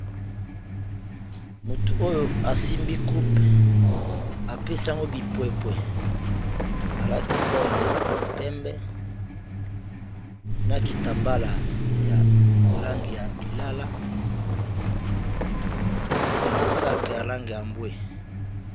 Mutu oyo asimbi coupe apesi yango bipwepwe alati obe ya pembe na kitambala ya langi ya lilala, na saki ya lange ya mbwe.